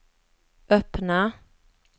öppna